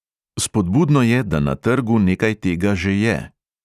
Spodbudno je, da na trgu nekaj tega že je.